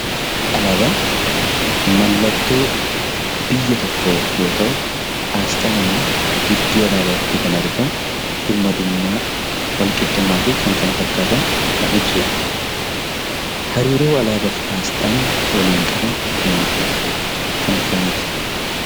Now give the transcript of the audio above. Alaabaan mallattoo biyya tokkoo yoo ta’u, aasxaan immoo gidduu alaabaatti kan argamu birmadummaa, walqixxummaa fi kan kana fakkaatan kan ibsudha. Hariiroo alaabaa fi aasxaan waliin qaban maal fa'a kan akkamiiti?